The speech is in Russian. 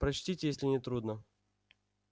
прочтите если не трудно